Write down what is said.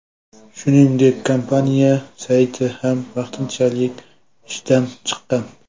Shuningdek, kompaniya sayti ham vaqtinchalik ishdan chiqqan.